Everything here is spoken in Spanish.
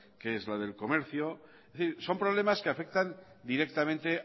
que es la del comercio es decir son problemas que afectan directamente